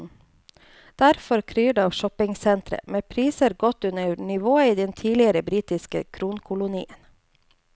Derfor kryr det av shoppingsentre, med priser godt under nivået i den tidligere britiske kronkolonien.